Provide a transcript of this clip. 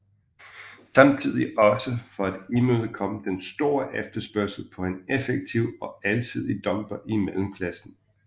Samtidig også for at imødekomme den store efterspørgsel på en effektiv og alsidig dumper i mellemklassen